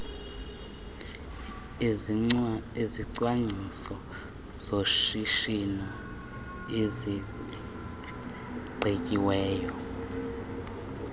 izicwangciso zoshishino ezigqityiweyo